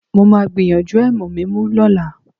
Mo máa gbìyànjú ẹ̀mù mímú lọ́la